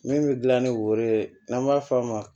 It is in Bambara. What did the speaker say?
Min bɛ dilan ni woro ye n'an b'a f'a ma